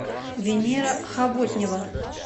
венера хавотнева